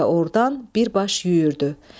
Elə ordan birbaş yüyürdü.